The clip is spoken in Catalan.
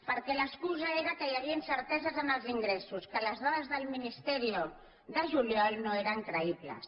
perquè l’excusa era que hi havia incerteses en els ingressos que les dades del ministerio de juliol no eren creïbles